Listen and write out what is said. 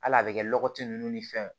Hali a bɛ kɛ lɔgɔti nunnu ni fɛnw ye